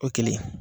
O kelen